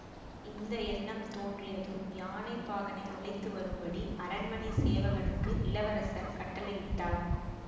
இந்த எண்ணம் தோன்றியதும் யானைப்பாகனை அழைத்து வரும்படி அரண்மனை சேவகனுக்கு இளவரசர் கட்டளையிட்டார்